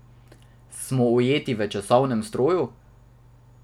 Smo ujeti v časovnem stroju?